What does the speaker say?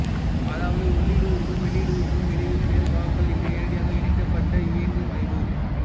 அதாவது உள்ளிடு உறுப்பும் வெளியிடு உறுப்பும் இடையில் வேறு பாகங்கள் இன்றி நேரடியாக இணைக்கப்பட்ட இயங்கமைவு